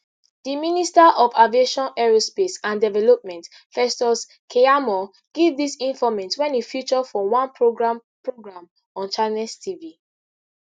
di minister for aviation aerospace and development festus keyamo give dis informate wen e feature for one programme programme on channels tv